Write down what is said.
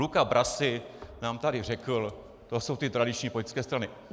Luca Brasi nám tady řekl: To jsou ty tradiční politické strany.